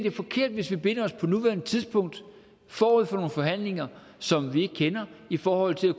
er forkert hvis vi binder os på nuværende tidspunkt forud for nogle forhandlinger som vi ikke kender i forhold til